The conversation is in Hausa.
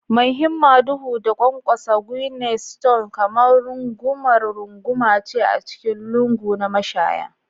Mai himma duhu, da ƙwanƙwasa Guinness Stout kamar rungumar runguma ce a cikin lungu na mashaya